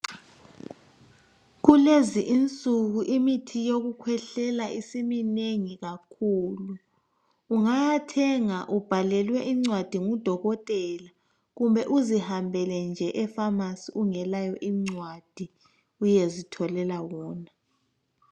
Kulezinsuku insuku imithi yokukhwehlela isimnengi kakhulu. Ungawuthenga ubhalelwe ngudokotela kumbe uzihambele nje efamasi ungelayo incwadi uyezitholela wona.